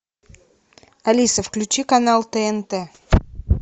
алиса включи канал тнт